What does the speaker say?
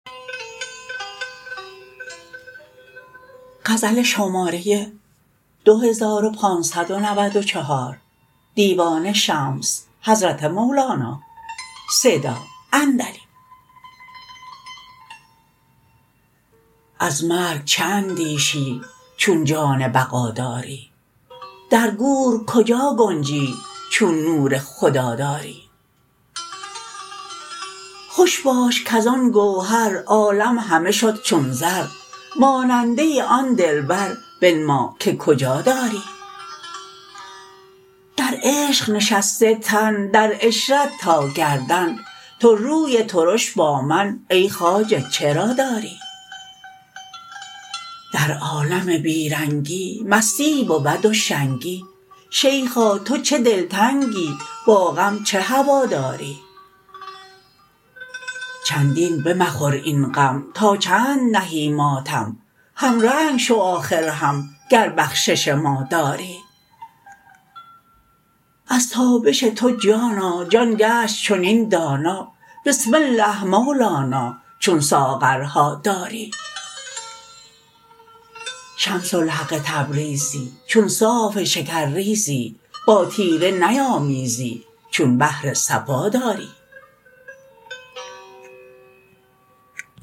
از مرگ چه اندیشی چون جان بقا داری در گور کجا گنجی چون نور خدا داری خوش باش کز آن گوهر عالم همه شد چون زر ماننده آن دلبر بنما که کجا داری در عشق نشسته تن در عشرت تا گردن تو روی ترش با من ای خواجه چرا داری در عالم بی رنگی مستی بود و شنگی شیخا تو چو دلتنگی با غم چه هواداری چندین بمخور این غم تا چند نهی ماتم همرنگ شو آخر هم گر بخشش ما داری از تابش تو جانا جان گشت چنین دانا بسم الله مولانا چون ساغرها داری شمس الحق تبریزی چون صاف شکرریزی با تیره نیامیزی چون بحر صفا داری